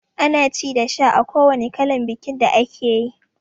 Ana ci da sha a kowanne kalan bikin da akeyi